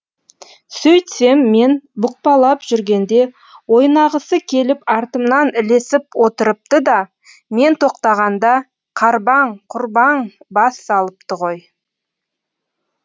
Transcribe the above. сөйтсем мен бұқпалап жүргенде ойнағысы келіп артымнан ілесіп отырыпты да мен тоқтағанда қарбаң құрбаң бас салыпты ғой